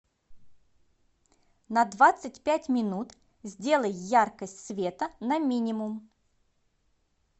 на двадцать пять минут сделай яркость света на минимум